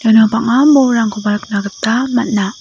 iano bang·a nikna gita man·a.